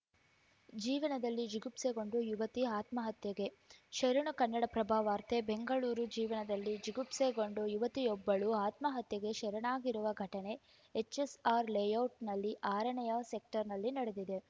ಜೀವನದಲ್ಲಿ ಜಿಗುಪ್ಸೆಗೊಂಡು ಯುವತಿ ಆತ್ಮಹತ್ಯೆಗೆ ಶರಣು ಕನ್ನಡಪ್ರಭ ವಾರ್ತೆ ಬೆಂಗಳೂರು ಜೀವನದಲ್ಲಿ ಜಿಗುಪ್ಸೆಗೊಂಡು ಯುವತಿಯೊಬ್ಬಳು ಆತ್ಮಹತ್ಯೆಗೆ ಶರಣಾಗಿರುವ ಘಟನೆ ಎಚ್‌ಎಸ್‌ಆರ್‌ ಲೇಔಟ್‌ನ ಆರನೇಯ ಸೆಕ್ಟರ್‌ನಲ್ಲಿ ನಡೆದಿದೆ